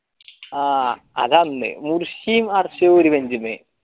ആ അതന്ന് മുർശിയും അർശിയും ഒരു bench മ്മെ